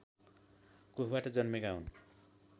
कोखबाट जन्मेका हुन्